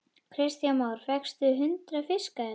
Kristján Már: Fékkstu hundrað fiska hérna?